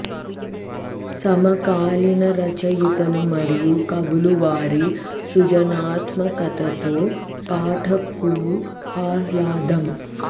సమకాలీన రచయితలు మరియు కవులు వారి సృజనాత్మకత తో పాఠకులు ఆహ్లాదం